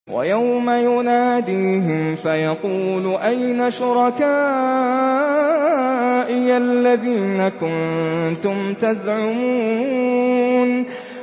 وَيَوْمَ يُنَادِيهِمْ فَيَقُولُ أَيْنَ شُرَكَائِيَ الَّذِينَ كُنتُمْ تَزْعُمُونَ